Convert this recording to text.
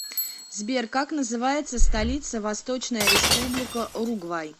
сбер как называется столица восточная республика уругвай